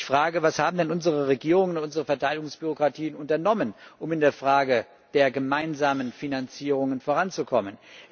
Ich frage Was haben denn unsere Regierungen und unsere Verteidigungsbürokratien unternommen, um in der Frage der gemeinsamen Finanzierungen voranzukommen?